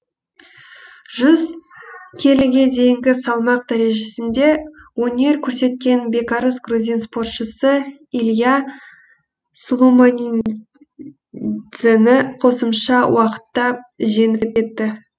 жүз келіге дейінгі салмақ дәрежесінде өнер көрсеткен бекарыс грузин спортшысы илиа сулуманидзені қосымша уақытта жеңіп кетті